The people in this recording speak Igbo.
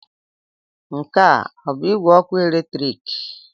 Nke a ọ bụ igwe ọkụ eletrik?